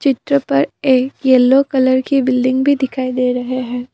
चित्र पर एक येलो कलर की बिल्डिंग भी दिखाई दे रहे है।